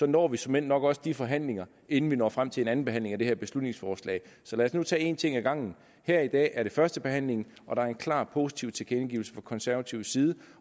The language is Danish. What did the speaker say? når vi såmænd nok også de forhandlinger inden vi når frem til en anden behandling af det her beslutningsforslag så lad os nu tage en ting ad gangen her i dag er det førstebehandlingen og der er en klar positiv tilkendegivelse fra konservativ side